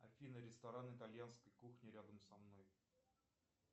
афина ресторан итальянской кухни рядом со мной